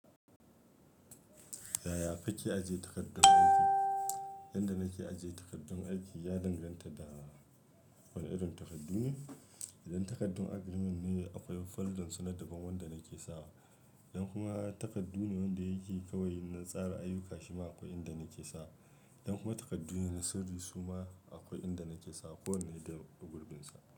Yaya kake ajiye takardun aiki? Yan da nake ajiye takardun aiki ya danganta da wane irin takardu ne. Idan takardun agrimen ne akwai foldan su na daban wanda nake sawa. Yan kuma takardu ne wanda yake kawai na tsara ayyuka shima akwai inda nake sawa. Yan kuma takardu ne na sirri suma akwai inda nake sawa, ko wane ya yi gurbinsa.